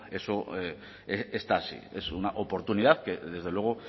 eso está así es una oportunidad que desde luego